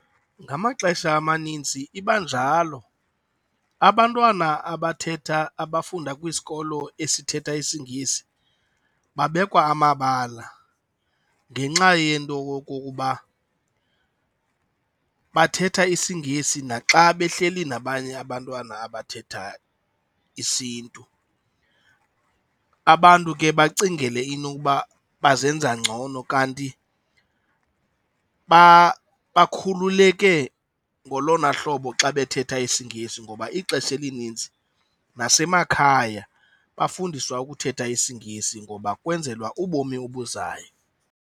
Ngamaxesha amanintsi iba njalo, abantwana abathetha, abafunda kwisikolo esithetha isiNgesi babekwa amabala ngenxa yento okokuba bathetha isiNgesi naxa behleli nabanye abantwana abathethayo isiNtu. Abantu ke bacingele inokuba bazenza ngcono kanti bakhululeke ngolona hlobo xa bethetha isiNgesi ngoba ixesha elinintsi nasemakhaya bafundiswa ukuthetha isiNgesi ngoba kwenzelwa ubomi obuzayo.